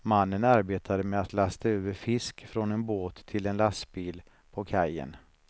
Mannen arbetade med att lasta över fisk från en båt till en lastbil på kajen.